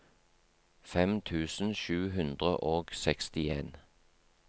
fem tusen sju hundre og sekstien